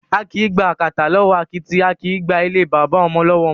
A kìí gba àkàtà lọwọ akítì, a kìí gba ilé baba ọmọ lọwọ ọmọ.